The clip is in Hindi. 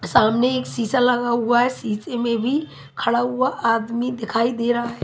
सामने एक शीशा लगा हुआ है शीशे में भी खड़ा हुआ आदमी दिखाई दे रहा--